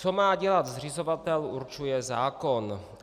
Co má dělat zřizovatel, určuje zákon.